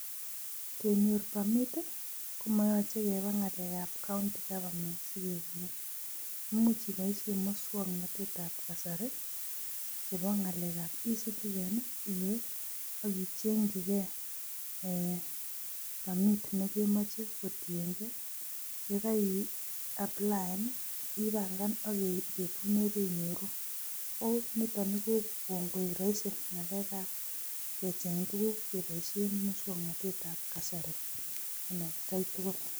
Kenyor pamit ii, komoyoche keba ngalekab County Goverment si kekonin. Imuch iboisie muswoknotetab kasari che bo ngalekab eCitizen iwe ak ichengchikei um pamit ne kemoche kotiengei ye kaiaplayan ii, ipangan ak keit betut neb inyoru nitoni ko kongoek rahisi ngalekab kecheng tuguk keboisie muswoknotetab kasari en atkai tugul.